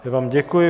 Já vám děkuji.